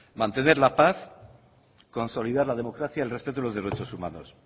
mantener la paz consolidar la democracia el respeto a los derechos humanos